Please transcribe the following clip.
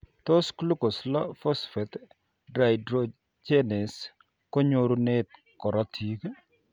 Tos glucose 6 phosphate dehydrogenase kenyorunen korotik?